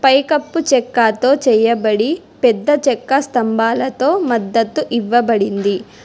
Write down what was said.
పైకప్పు చెక్కతో చేయబడి పెద్ద చెక్క స్తంభాలతో మద్దతు ఇవ్వబడింది.